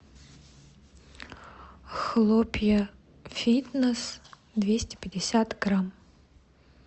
хлопья фитнес двести пятьдесят грамм